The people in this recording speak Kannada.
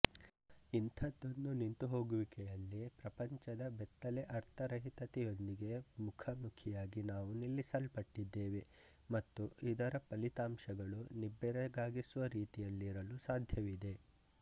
ಇಂಥದೊಂದು ನಿಂತುಹೋಗುವಿಕೆಯಲ್ಲಿ ಪ್ರಪಂಚದ ಬೆತ್ತಲೆ ಅರ್ಥರಹಿತತೆಯೊಂದಿಗೆ ಮುಖಾಮುಖಿಯಾಗಿ ನಾವು ನಿಲ್ಲಿಸಲ್ಪಟ್ಟಿದ್ದೇವೆ ಮತ್ತು ಇದರ ಫಲಿತಾಂಶಗಳು ನಿಬ್ಬೆರಗಾಗಿಸುವ ರೀತಿಯಲ್ಲಿರಲು ಸಾಧ್ಯವಿದೆ